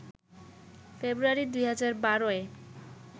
ফেব্রুয়ারি ২০১২-এ